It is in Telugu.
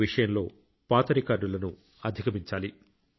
ఈ విషయంలో పాత రికార్డులను అధిగమించాలి